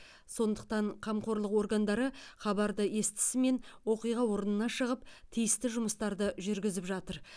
сондықтан қамқорлық органдары хабарды естсімен оқиға орнына шығып тиісті жұмыстарды жүргізіп жатыр